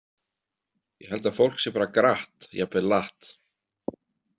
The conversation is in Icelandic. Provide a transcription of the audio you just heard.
Ég held að fólk sé bara gratt, jafnvel latt.